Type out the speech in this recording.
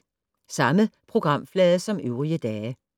Samme programflade som øvrige dage